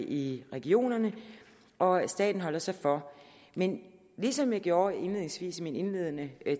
i regionerne og staten holder så for men ligesom jeg gjorde indledningsvis i min indledende